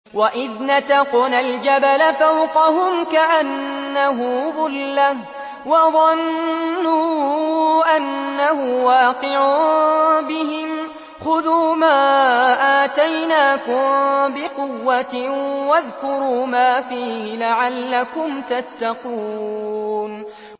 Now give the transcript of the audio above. ۞ وَإِذْ نَتَقْنَا الْجَبَلَ فَوْقَهُمْ كَأَنَّهُ ظُلَّةٌ وَظَنُّوا أَنَّهُ وَاقِعٌ بِهِمْ خُذُوا مَا آتَيْنَاكُم بِقُوَّةٍ وَاذْكُرُوا مَا فِيهِ لَعَلَّكُمْ تَتَّقُونَ